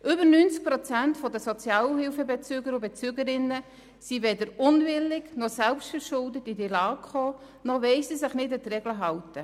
Mehr als 90 Prozent der Sozialhilfebezüger und -bezügerinnen sind weder unwillig, noch sind sie selbstverschuldet in diese Lage geraten, noch wollen sie sich nicht an die Regeln halten.